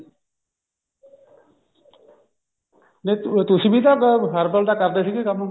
ਤੇ ਤੁਸੀਂ ਵੀ ਤਾਂ herbal ਦਾ ਕਰਦੇ ਸੀਗੇ ਕੰਮ